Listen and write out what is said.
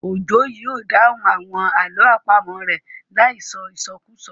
Òjó yóò dáhùn àwọn àlọ́ àpamọ̀ rẹ̀ láì sọ ìsọkúsọ